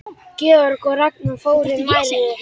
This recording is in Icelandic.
Georg og Ragnar voru nærri.